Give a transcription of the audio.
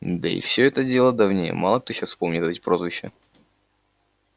да и всё это дело давнее мало кто сейчас помнит эти прозвища